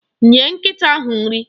Nye nkịta ahụ nri!